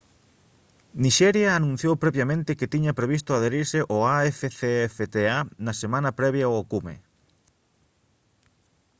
nixeria anunciou previamente que tiña previsto adherise ao afcfta na semana previa ao cume